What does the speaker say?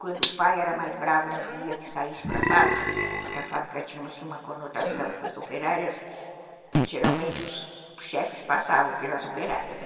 Quando o pai era mais bravo, não queria que saísse para a fábrica, porque a fábrica tinha assim uma conotação, as operárias, geralmente os chefes passavam pelas operárias, né?